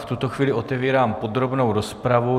V tuto chvíli otevírám podrobnou rozpravu.